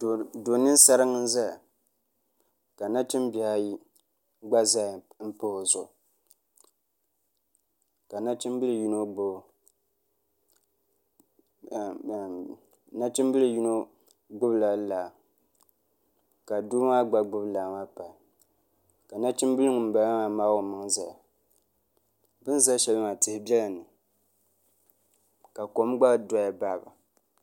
Do ninsaringi n ʒɛya ka nachimbihi ayi gba ʒɛya n pahi o zuɣu nachimbili yino gbubila laa ka doo maa gba gbubi laa maa pahi ka nachimbili ŋunbala maa maagi o maŋa ʒɛya bi ni ʒɛ shɛli maa tihi biɛla ni ka kom gba doya baɣaba